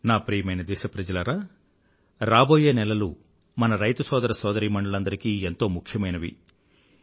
నా ప్రియమైన దేశప్రజలారా రాబోయే నెలలు మన రైతు సోదర సోదరీమణులందరికీ ఎంతో ముఖ్యమైనవి